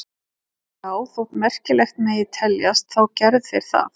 Já, þótt merkilegt megi teljast þá gerðu þeir það.